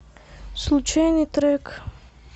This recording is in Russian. случайный трек